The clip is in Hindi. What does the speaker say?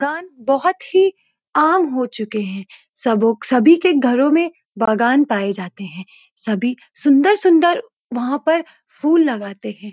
बागान बहुत ही आम हो चुके हैं सब सभी के घरों में बागान पाए जाते हैं सभी सुंदर सुंदर वहाँ पर फूल लगाते हैं।